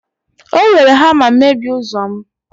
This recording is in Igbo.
o were hama mebie ụzọ'm